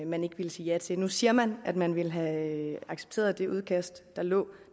man ikke ville sige ja til nu siger man at man ville have accepteret det udkast der lå